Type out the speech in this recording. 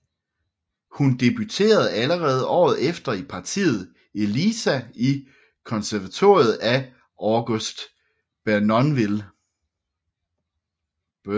Hun debuterede allerede året efter i partiet Eliza i Conservatoriet af August Bournonville